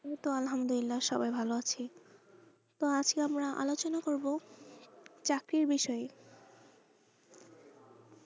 এই তো আলহামদুলিল্লা সবাই ভালো আছি তো আজকে আমরা আলোচনা করবো চাকরির বিষয়ে।